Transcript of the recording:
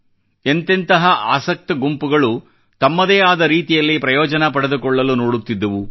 ಎಂತೆಂತಹ ಆಸಕ್ತ ಗುಂಪುಗಳು ತಮ್ಮದೇ ಆದ ರೀತಿಯಲ್ಲಿ ಪ್ರಯೋಜನ ಪಡೆದುಕೊಳ್ಳಲು ನೋಡುತ್ತಿದ್ದವು